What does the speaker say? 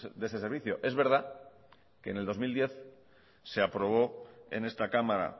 de ese servicio es verdad que en el dos mil diez se aprobó en esta cámara